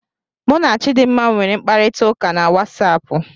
Mụ na Chidmma nwere mkparita ụka na WatsAapụ